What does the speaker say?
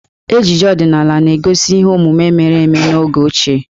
Ejije ọdinaala na-egosi ihe omume mere eme n'oge ochie.